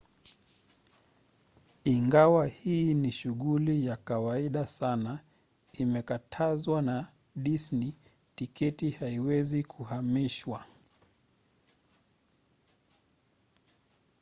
ingawa hii ni shughuli ya kawaida sana imekatazwa na disney: tiketi haziwezi kuhamishwa